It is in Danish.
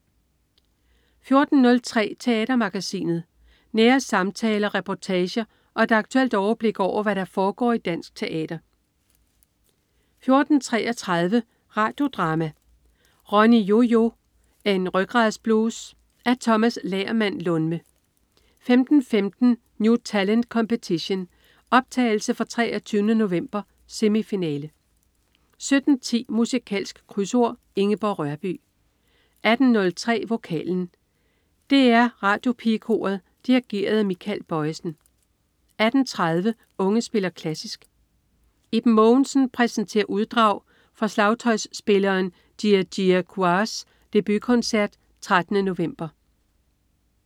14.03 Teatermagasinet. Nære samtaler, reportager og et aktuelt overblik over, hvad der foregår i dansk teater 14.33 Radio Drama: Ronny-Yo-Yo, en rygradsblues. Af Tomas Lagermand Lundme 15.15 New Talent Competition. Optagelse fra 23. november. Semifinale 17.10 Musikalsk Krydsord. Ingeborg Rørbye 18.03 Vokalen. DR Radiopigekoret dirigeret af Michael Bojesen 18.30 Unge spiller klassisk. Iben Mogensen præsenterer uddrag fra slagtøjspilleren Jia-Jia Qiaos debutkoncert 13. november